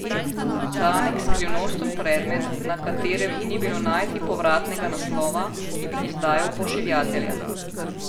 Tanek skrivnosten predmet, na katerem ni bilo najti povratnega naslova, ki bi izdajal pošiljatelja.